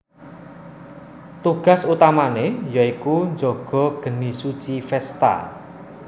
Tugas utamane ya iku jaga geni suci Vesta